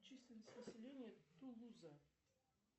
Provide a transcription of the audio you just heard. численность населения тулуза